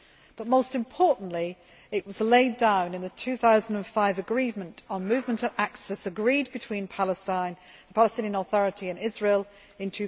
But, most importantly, it was laid down in the 2005 agreement on movement and access agreed between the Palestinian Authority and Israel